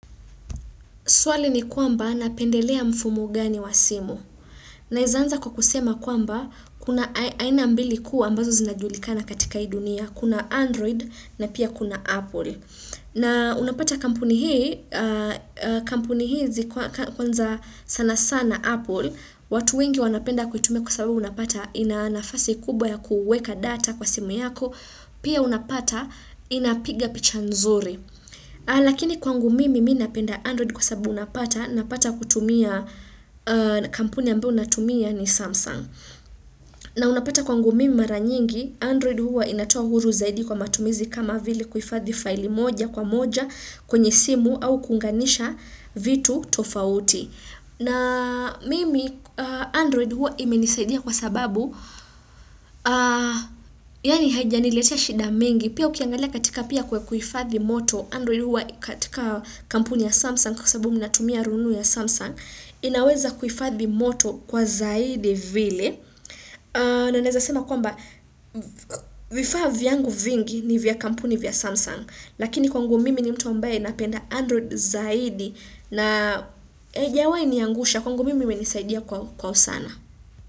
Swali ni kwamba napendelea mfumo gani wa simu. Naeza anza kwa kusema kwamba kuna aina ambili kuu ambazo zinajulikana katika ii dunia. Kuna Android na pia kuna Apple. Na unapata kampuni hii hizi kwanza sana sana Apple. Watu wengi wanapenda kuitumia kwa sababu unapata ina nafasi kubwa ya kuweka data kwa simu yako. Pia unapata inapiga picha nzuri. Lakini kwangu mimi mi napenda android kwa sababu napata na pata kutumia kampuni ambao unatumia ni samsung na unapata kwangu mi maranyingi android huwa inatoa huru zaidi kwa matumizi kama vile kuhifathi file moja kwa moja kwenye simu au kuunganisha vitu tofauti na mimi android huwa imenisaidia kwa sababu yani haja niletea shida mingi pia ukiangalia katika pia kwa kuhifathi moto Android huwa katika kampuni ya Samsung kwasababu mnatumia rununu ya Samsung inaweza kuhifadhi moto kwa zaidi vile na naezasema kwamba vifaa vyangu vingi ni vya kampuni vya Samsung lakini kwangu mimi ni mtu ambaye napenda Android zaidi na aijawai niangusha kwangu mimi menisaidia kwa usana.